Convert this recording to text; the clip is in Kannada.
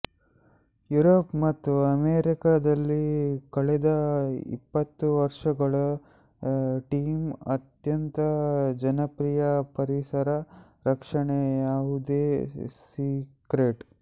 ಯುರೋಪ್ ಮತ್ತು ಅಮೆರಿಕದಲ್ಲಿ ಕಳೆದ ಇಪ್ಪತ್ತು ವರ್ಷಗಳ ಥೀಮ್ ಅತ್ಯಂತ ಜನಪ್ರಿಯ ಪರಿಸರ ರಕ್ಷಣೆ ಯಾವುದೇ ಸೀಕ್ರೆಟ್